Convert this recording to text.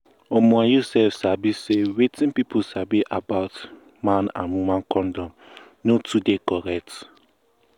um you sef sabi say wetin pipu sabi about um man and woman condom no too dey correct